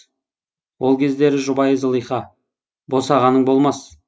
ол кездерде жұбайы зылиха босағаның болмас